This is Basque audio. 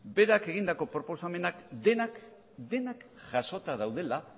berak egindako proposamenak denak denak jasota daudela